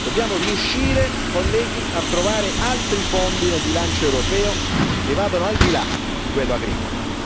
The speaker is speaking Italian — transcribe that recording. Dobbiamo riuscire, colleghi, a trovare altri fondi dal bilancio europeo che vadano al di là di quello agricolo.